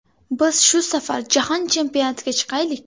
Biz shu safar Jahon chempionatiga chiqaylik.